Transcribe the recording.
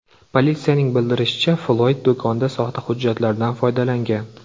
Politsiyaning bildirishicha, Floyd do‘konda soxta hujjatlardan foydalangan.